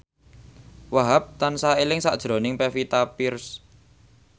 Wahhab tansah eling sakjroning Pevita Pearce